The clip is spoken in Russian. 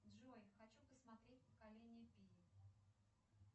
джой хочу посмотреть поколение пи